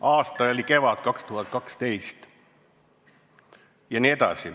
Aasta oli kevad 2012.